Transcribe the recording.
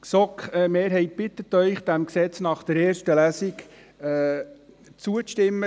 Die GSoK-Mehrheit bittet Sie, diesem Gesetz nach der ersten Lesung zuzustimmen.